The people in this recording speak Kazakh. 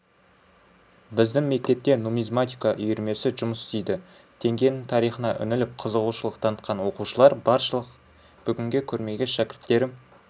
біздің мектепте нумизматика үйірмесі жұмыс істейді теңгенің тарихына үңіліп қызығушылық танытқан оқушылар баршылық бүгінгі көрмеге шәкірттерім